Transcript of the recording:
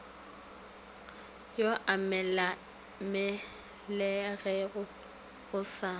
yo a mmelegego o sa